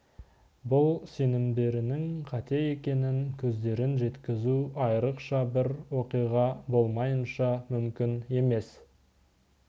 бұл сенімдерінің қате екеніне көздерін жеткізу айырықша бір оқиға болмайынша мүмкін емес